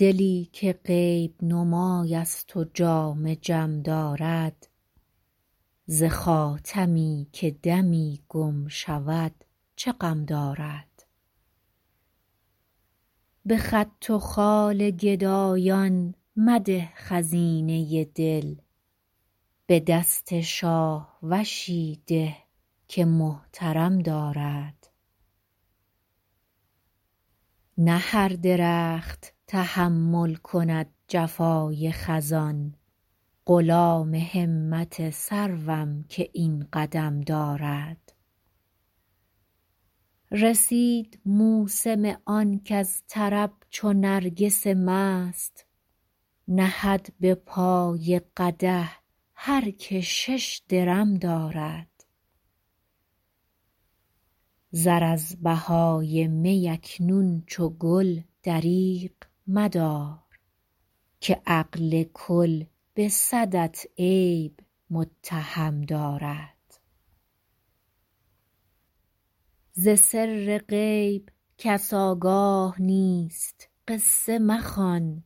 دلی که غیب نمای است و جام جم دارد ز خاتمی که دمی گم شود چه غم دارد به خط و خال گدایان مده خزینه دل به دست شاهوشی ده که محترم دارد نه هر درخت تحمل کند جفای خزان غلام همت سروم که این قدم دارد رسید موسم آن کز طرب چو نرگس مست نهد به پای قدح هر که شش درم دارد زر از بهای می اکنون چو گل دریغ مدار که عقل کل به صدت عیب متهم دارد ز سر غیب کس آگاه نیست قصه مخوان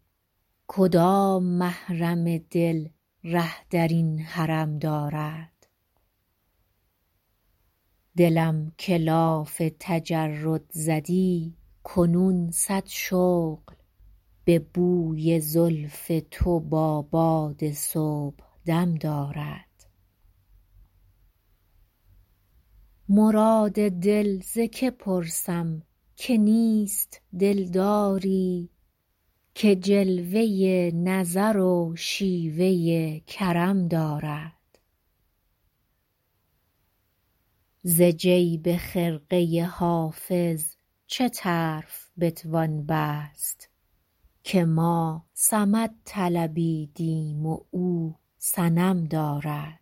کدام محرم دل ره در این حرم دارد دلم که لاف تجرد زدی کنون صد شغل به بوی زلف تو با باد صبحدم دارد مراد دل ز که پرسم که نیست دلداری که جلوه نظر و شیوه کرم دارد ز جیب خرقه حافظ چه طرف بتوان بست که ما صمد طلبیدیم و او صنم دارد